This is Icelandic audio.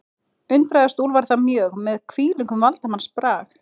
Undraðist Úlfar það mjög, með hvílíkum valdsmannsbrag